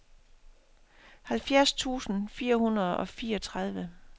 halvfjerds tusind fire hundrede og fireogtredive